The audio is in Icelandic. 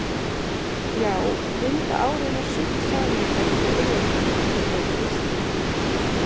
Já, Linda á raunar sumt sameiginlegt með Urðarketti, sagði Kristín.